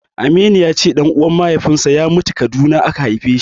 Aminu ya ce ɗan'uwan mahaifinsa ya mutu Kaduna haifeshi.